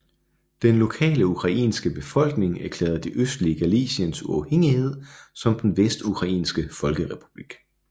Den lokale ukrainske befolkning erklærede det østlige Galiciens uafhængighed som den Vestukrainske folkerepublik